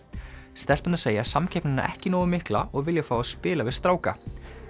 stelpurnar segja samkeppnina ekki nógu mikla og vilja fá að spila við stráka